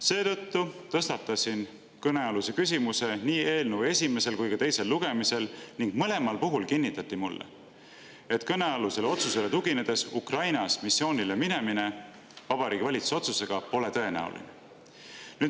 Seetõttu tõstatasin kõnealuse küsimuse nii eelnõu esimesel kui ka teisel lugemisel ning mõlemal puhul kinnitati mulle, et kõnealusele otsusele tuginedes Ukrainas missioonile minemine Vabariigi Valitsuse otsuse alusel pole tõenäoline.